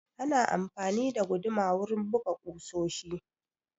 Ana amfani da guduma wurin buga ƙusoshi